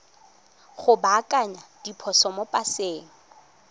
go baakanya diphoso mo paseng